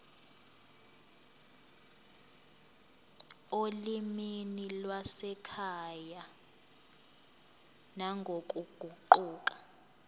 olimini lwasekhaya nangokuguquka